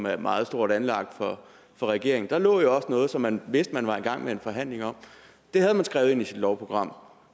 er meget stort anlagt for regeringen der lå jo også noget som man vidste man var i gang med en forhandling om det havde man skrevet ind i sit lovprogram